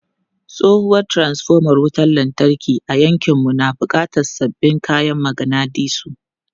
Tsohuwar transfoma wutar lantarki a yankinmu na buƙatar sabbin kayan maganadisu.